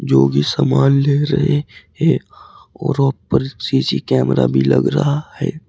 जो कि सामान ले रहे है और ऊपर सी_सी कैमरा भी लग रहा है।